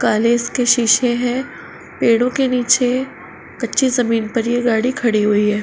काले इसके शीशे हैं। पेड़ों के नीचे कच्ची जमीन पर ये गाडी खड़ी हुई है।